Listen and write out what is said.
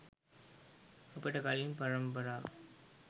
අපට කලින් පරම්පරාව